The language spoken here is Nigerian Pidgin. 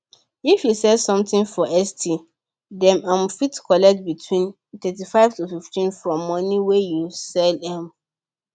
if you sell something for esty dem um fit collect between 35 to 15 from money wey you sell um